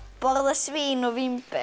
borðar svín og vínber